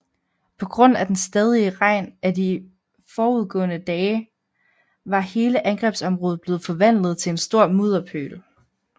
På grund af den stadige regn i de forudgående dage var hele angrebsområdet blevet forvandlet til en stor mudderpøl